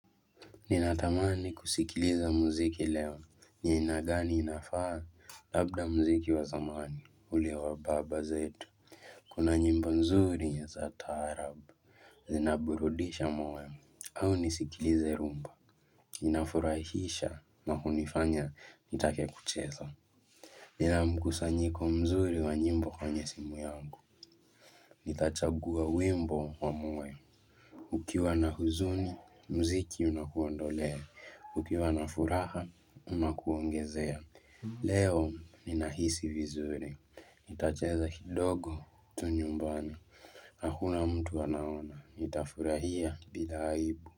Ninatamani kusikiliza muziki leo ni aina gani inafaa? Labda muziki wa zamani ule wa baba zetu Kuna nyimbo nzuri za taarabu, zinaburudisha moyo au nisikilize rumba Inafurahisha na hunifanya nitake kucheza Nina mkusanyiko mzuri wa nyimbo kwenye simu yangu Nitachagua wimbo wa mue. Ukiwa na huzuni, muziki unakuondolea. Ukiwa na furaha, unakuongezea. Leo, ninahisi vizuri. Nitacheza kidogo tu nyumbani. Hakuna mtu anaona. Nitafurahia bila aibu.